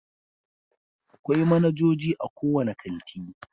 Akwai manajoji a kowane kanti.